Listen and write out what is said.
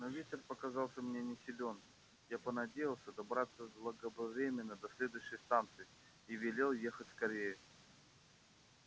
но ветер показался мне не силен я понадеялся добраться заблаговременно до следующей станции и велел ехать скорее